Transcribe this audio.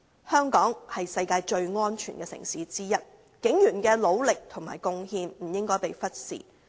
香港是世界上最安全的城市之一，警員的努力和貢獻不應被忽視。